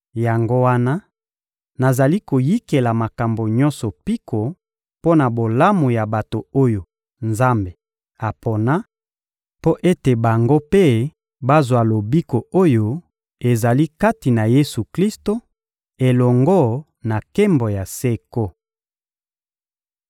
Yango wana nazali koyikela makambo nyonso mpiko mpo na bolamu ya bato oyo Nzambe apona, mpo ete bango mpe bazwa lobiko oyo ezali kati na Yesu-Klisto, elongo na nkembo ya seko.